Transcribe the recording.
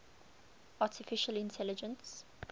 artificial intelligence